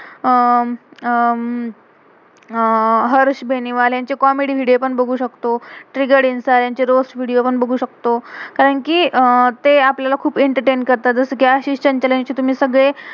अह अं Harsh Beniwale, comedy comedy video video पण बघू शकतो. रोज़ वीडियो पण बघू शकतो. कारण कि अह ते आपल्याला खुप एंटरटेन entertain करतात. जसं कि आशीष चंचले यांचे तुम्ही सगळे